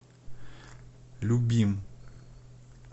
любим